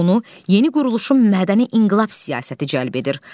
Onu yeni quruluşun mədəni inqilab siyasəti cəlb edir.